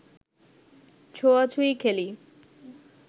ছোঁয়াছুঁয়ি খেলি